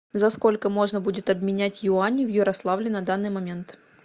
за сколько можно будет обменять юани в ярославле на данный момент